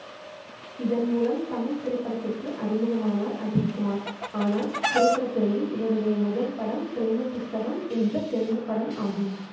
இதன் மூலம் தமிழ் திரைப்படத்திற்கு அறிமுகமானார் அஜித்குமார் ஆனால் திரைப்பட துறையில் இவருடைய முதல் படம் பிரேம புஸ்தகம் என்ற தெலுங்கு படம் ஆகும்